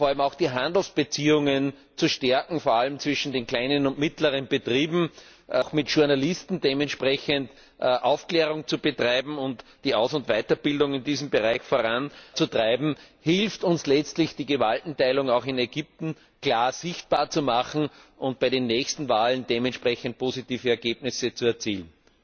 Vor allem auch die Handelsbeziehungen zu stärken, insbesondere zwischen den kleinen und mittleren Betrieben, auch mit Journalisten dementsprechend Aufklärung zu betreiben und die Aus und Weiterbildung in diesem Bereich voranzutreiben, hilft uns letztlich, die Gewaltenteilung auch in Ägypten klar sichtbar zu machen und bei den nächsten Wahlen dementsprechend positive Ergebnisse zu erzielen.